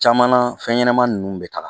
Caman na fɛn ɲɛnama ninnu bɛ taga